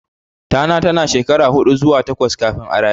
Tana tana shekara huɗu zuwa takwas kafin a raye.